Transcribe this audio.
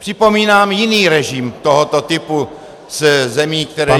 Připomínám jiný režim tohoto typu zemí, které jsou -